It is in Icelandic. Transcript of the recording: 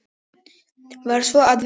Varð svo að vera.